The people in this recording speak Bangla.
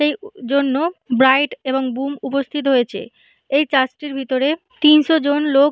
এই জন্য ব্রাইড এবং বুম উপস্থিত হয়েছে এই চার্জ টির ভিতরে তিনশো জন লোক--